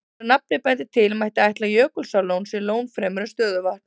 Eins og nafnið bendir til, mætti ætla að Jökulsárlón sé lón fremur en stöðuvatn.